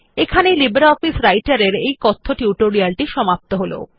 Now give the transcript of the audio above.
এই লিব্রিঅফিস রাইটের এর এই কথ্য টিউটোরিয়াল টি সমাপ্ত হল